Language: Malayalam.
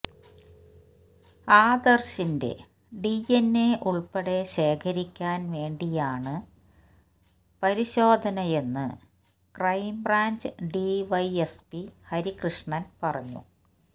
ആദർശിന്റെ ഡിഎൻഎ ഉള്പ്പെടെ ശേഖരിക്കാൻ വേണ്ടിയാണ് പരിശോധനയെന്ന് ക്രൈംബ്രാഞ്ച് ഡിവൈഎസ്പി ഹരികൃഷ്ണൻ പറഞ്ഞു